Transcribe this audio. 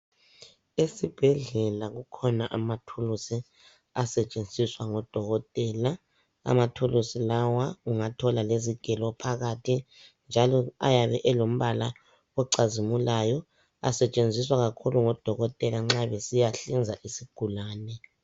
Esibhedlela kukhona amathulusi asetshenziswa ngudokotela. Amathulusi lawa ungathola lezigelo phakathi. Njalo ayabe elombala ocazimulayo. Asetshenziswa kakhulu ngodokotela nxa besiyahlinza isigulane.